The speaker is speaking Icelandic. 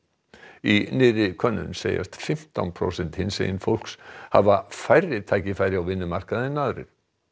í nýrri könnun segjast fimmtán prósent hinsegin fólks hafa færri tækifæri á vinnumarkaði en aðrir